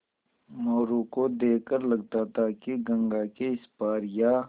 मोरू को देख कर लगता था कि गंगा के इस पार या